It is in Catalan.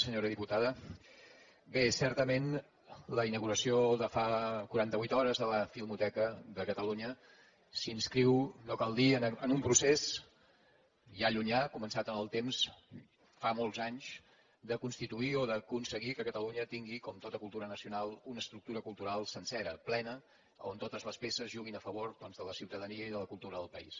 senyora diputada bé certament la inauguració de fa quaranta vuit hores de la filmoteca de catalunya s’inscriu no cal dir ho en un procés ja llunyà començat en el temps fa molts anys de constituir o d’aconseguir que catalunya tingui com tota cultura nacional una estructura cultural sencera plena on totes les peces juguin a favor doncs de la ciutadania i de la cultura del país